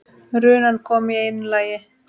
Runan kom í einu lagi.